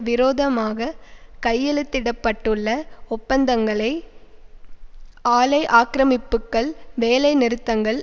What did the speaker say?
விரோதமாக கையெழுத்திட பட்டுள்ள ஒப்பந்தங்களை ஆலை ஆக்கிரமிப்புக்கள் வேலை நிறுத்தங்கள்